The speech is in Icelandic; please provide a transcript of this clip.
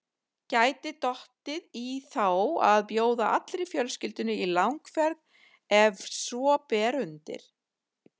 Gæti dottið í þá að bjóða allri fjölskyldunni í langferð ef svo ber undir.